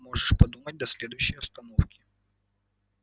можешь подумать до следующей остановки